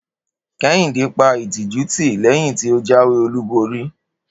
Kehinde pa ìtìjú tì léyìn tí o jáwé olúborí